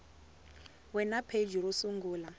we na pheji ro sungula